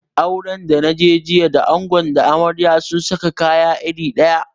Auren da naje jiya da ango da amarya sun saka kalan kaya iri daya